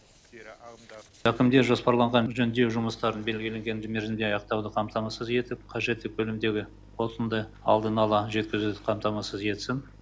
әкімдер жоспарланған жөндеу жұмыстарын белгіленген мерзімде аяқтауды қамтамасыз етіп қажетті көлемдегі отынды алдын ала жеткізуді қамтамасыз етсін